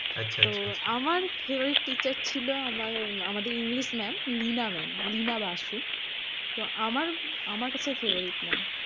আচ্ছা আচ্ছা আচ্ছা। তো আমার favorite teacher ছিল আমার আমাদের English ma'am. Lina ma'am, Lina Basu. তো আমার আমার কাছে favourite ma'am